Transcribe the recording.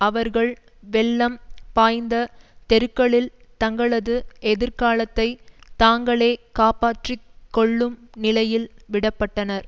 அவர்கள் வெள்ளம் பாய்ந்த தெருக்களில் தங்களது எதிர்காலத்தை தாங்களே காப்பாற்றி கொள்ளும் நிலையில் விட பட்டனர்